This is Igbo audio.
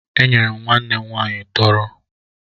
Enyere m nwanne m nwaanyị tọrọ